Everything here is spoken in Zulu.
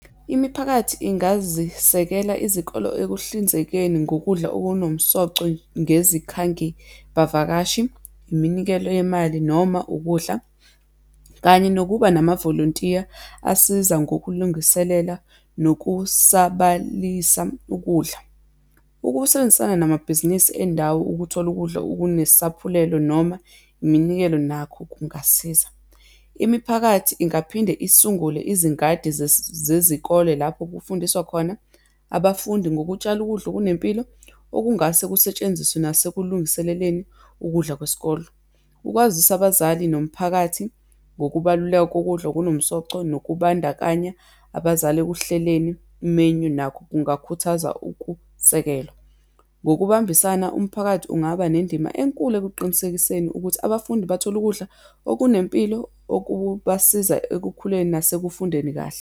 Imiphakathi ingazisekela izikolo ekuhlinzekeni ngokudla okunomsoco ngezikhangibavakashi, iminikelo yemali, noma ukudla, kanye nokuba namavolontiya asiza ngokulungiselela nokusabalisa ukudla. Ukusebenzisana namabhizinisi endawo ukuthola ukudla okunesaphulelo, noma iminikelo, nakho kungasiza. Imiphakathi ingaphinde isungule izingadi zezikole lapho kufundiswa khona abafundi ngokutshala ukudla okunempilo, okungase kusetshenziswe nasekulungiseleleni ukudla kwesikole. Ukwazisa abazali nomphakathi ngokubaluleka kokudla okunomsoco nokubandakanya abazali ekuhleleni i-menu, nakho kungakhuthaza ukusekelwa. Ngokubambisana, umphakathi ungaba nendima enkulu ekuqinisekiseni ukuthi abafundi bathola ukudla okunempilo, okubasiza ekukhuleni nasekufundeni kahle.